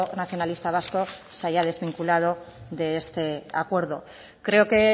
nacionalista vasco se haya desvinculado de este acuerdo creo que